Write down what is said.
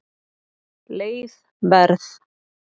Leið Verð